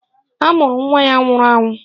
A mụrụ nwa ya nwụrụ anwụ